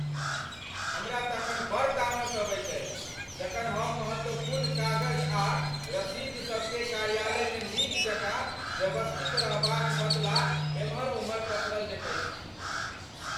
हमरा तखन बड़ तामस अबैत अछि जखन हम महत्वपूर्ण कागज आ रसीदसब केँ कार्यालयमे नीक जकाँ व्यवस्थित रहबाक बदला एम्हर ओम्हर पसरल देखैत छी।